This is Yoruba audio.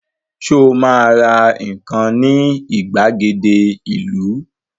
Sọ ma ra nǹkan ní ìgbàgede ìlú?